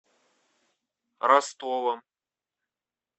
ростовом